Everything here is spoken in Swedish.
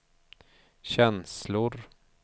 känslor